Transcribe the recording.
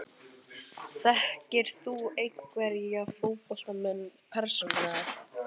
Þekkir þú einhverja fótboltamenn persónulega?